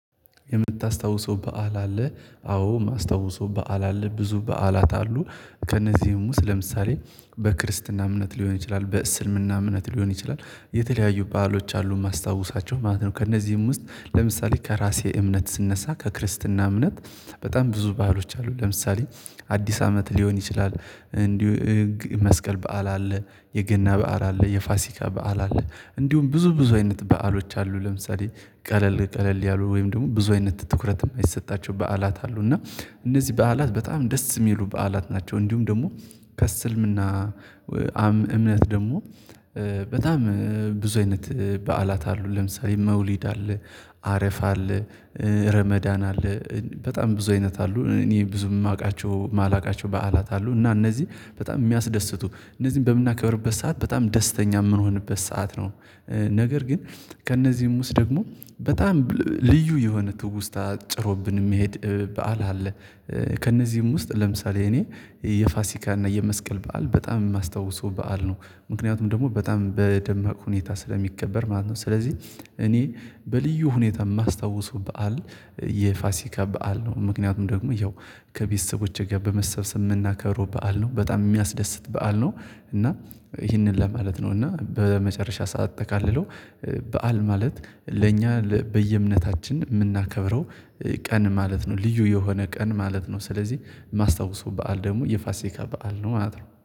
የምታስታውሰው በዓል አለ አዎ የማስታውሰው በዓል አለ ብዙ በዓላት አሉ ከእነዚህም ውስጥ ለምሳሌ በክርስትና እምነት ሊሆን ይችላል በእስልምና እምነት ሊሆን ይችላል የተለያዩ ባህሎች አሉ የማስታውሳቸው ማለት ነው። ከእነዚህም ውስጥ ለምሳሌ ከራሴ እምነት ስነሳ ከክርስትና እምነት በጣም ብዙ ባህሎች አሉ ለምሳሌ አዲስ አመት ሊሆን ይችላል። እንዲሁ መስቀል በዓል አለ የገና በዓል አለ የፋሲካ በዓል አለ እንዲሁም ብዙ ብዙ አይነት በዓሎች አሉ። ለምሳሌ ቀለል ቀለል ያሉ ወይም ደግሞ ብዙ አይነት ትኩረት አይሰጣቸው በዓላት አሉ እና እነዚህ በዓላት በጣም ደስ የሚሉ በዓላት ናቸው። እንዲሁም ደግሞ ከስልምና እምነት ደግሞ በጣም ብዙ አይነት በዓላት አሉ ለምሳሌ መውሊድ አለ አረፋ አለ ረመዳን አለ በጣም ብዙ አይነት አሉ። እኔ ብዙ የማውቃቸው የማላውቃቸው በዓላት አሉ እና እነዚህ በጣም የሚያስደስቱ እነዚህን በምናከብርበት ሰዓት በጣም ደስተኛ የምንሆንበት ሰዓት ነው። ነገር ግን ከእነዚህም ውስጥ ደግሞ በጣም ልዩ የሆነ ትውስታ ጭሮብን የሚሄድ በዓል አለ። ከእነዚህም ውስጥ ለምሳሌ እኔ የፋሲካ እና የመስቀል በዓል በጣም የማስታውሰው በዓል ነው። ምክንያቱም ደግሞ በጣም በደማቅ ሁኔታ ስለሚከበር ማለት ነው። ስለዚህ እኔ በልዩ ሁኔታ የማስታውሰው በዓል የፋሲካ በዓል ነው። ምክንያቱም ደግሞ ያው ከቤተሰቦቼ ጋር በመሰብሰብ የምናከረው በዓል ነው በጣም የሚያስደስት በዓል ነው። እና ይህንን ለማለት ነው እና በመጨረሻ ሰዓት ሳጠቃልለው በዓል ማለት ለእኛ በየእምነታችን የምናከብረው ቀን ማለት ነው። ልዩ የሆነ ቀን ማለት ነው። ስለዚህ የማስታውሰው በዓል ደግሞ የፋሲካ በዓል ነው ማለት ነው